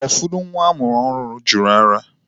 Ụfọdụ nwa amụrụ ọhụrụ jụrụ ara.